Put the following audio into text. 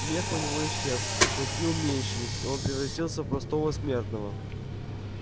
мех у него исчез клыки уменьшились и он превратился в простого смертного